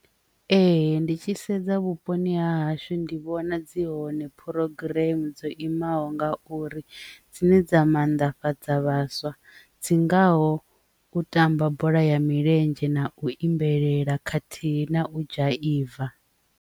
Ee, ndi tshi sedza vhuponi ha hashu ndi vhona dzi hone phurogiremu dzo imaho ngauri dzine dza mannḓafhadza vhaswa dzi ngaho u tamba bola ya milenzhe na u imbelela khathihi na u dzhaiva.